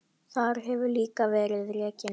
Þar hefur líka verið rekin